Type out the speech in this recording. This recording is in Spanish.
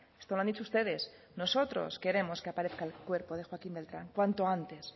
esto lo han dicho ustedes nosotros queremos que aparezca el cuerpo de joaquín beltrán cuanto antes